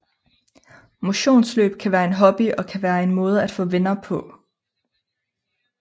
Motionsløb kan være en hobby og kan være en måde at få venner på